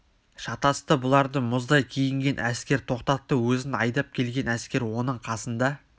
шатасты бұларды мұздай киінген әскер тоқтатты өзін айдап келген әскер оның қасында